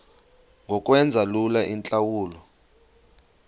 ngokwenza lula iintlawulo